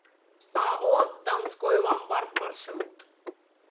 ао донской ломбард маршрут